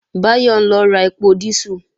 Báyọ̀ ń lọ ra ẹpo dísù